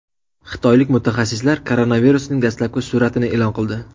Xitoylik mutaxassislar koronavirusning dastlabki suratini e’lon qildi.